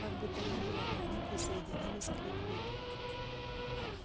как бы то ни было но они присоединились к лип липу